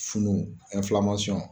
Funu